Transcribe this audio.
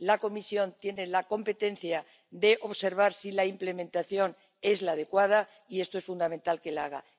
La Comisión tiene la competencia de observar si la implementación es la adecuada y es fundamental que lo haga.